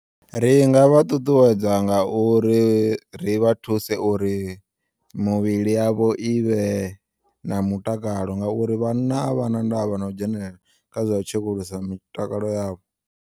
Ri nga vha ṱuṱuwedza ngauri ri vha thuse uri muvhili yavho ivhe na mutakalo ngauri vhanna a vhana ndavha no dzhenelela kha zwa u tshekulusa mitakalo yavho.